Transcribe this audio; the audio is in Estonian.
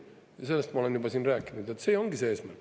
Ja sellest ma olen juba siin rääkinud, et see ongi see eesmärk.